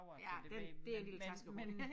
Ja den det en lille taskehund